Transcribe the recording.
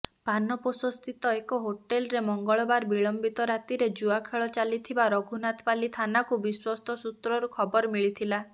ପାନପୋଷସ୍ଥିତ ଏକ ହୋଟେଲରେ ମଙ୍ଗଳବାର ବିଳମ୍ବିତ ରାତିରେ ଜୁଆଖେଳ ଚାଲିଥିବା ରଘୁନାଥପାଲି ଥାନାକୁ ବିଶ୍ୱସ୍ତ ସୂତ୍ରରୁ ଖବର ମିଳିଥିଲା